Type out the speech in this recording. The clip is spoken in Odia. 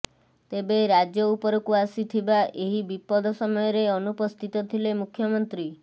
ତେବେ ରାଜ୍ୟ ଉପରକୁ ଆସିଥିବା ଏହି ବିପଦ ସମୟରେ ଅନୁପସ୍ଥିତ ଥିଲେ ମୁଖ୍ୟମନ୍ତ୍ରୀ